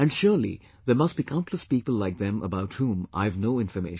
And surely there must be countless people like them about whom I have no information